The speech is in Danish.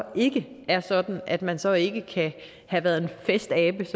ikke er sådan at man så ikke kan have været en festabe